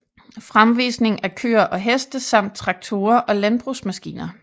Fremvisning af køer og heste samt traktorer og landbrugsmaskiner